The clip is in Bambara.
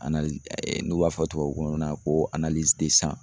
n'u b'a fɔ tubabukan na ko